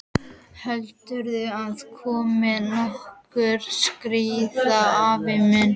Heldurðu að komi nokkuð stríð, afi minn?